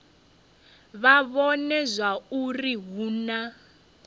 vha vhone zwauri hu na